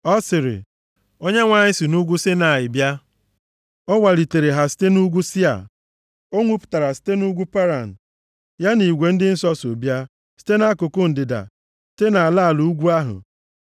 Ọ sịrị, “ Onyenwe anyị si nʼugwu Saịnaị bịa, ọ waliteere ha site nʼugwu Sia, o nwupụtara site nʼugwu Paran Ya na igwe ndị nsọ so bịa site nʼakụkụ ndịda, site nʼala ala ugwu ahụ.